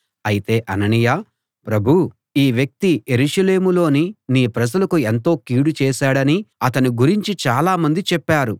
అయితే అననీయ ప్రభూ ఈ వ్యక్తి యెరూషలేములోని నీ ప్రజలకు ఎంతో కీడు చేశాడని అతని గురించి చాలామంది చెప్పారు